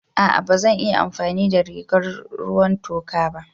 A'a ba zan iya amfani da rigar ruwan toka ba.